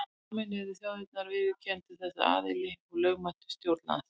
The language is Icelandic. Sameinuðu þjóðirnar viðurkenndu þessa aðila sem lögmæta stjórn landsins.